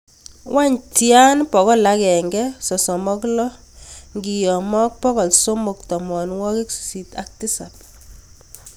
Wany tian bokol agenge sosom ak lo kiyama ak bokol somok tamanwagik sisit ak tisab